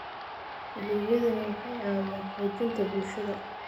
Adeegyadani waxay caawiyaan xoojinta bulshada.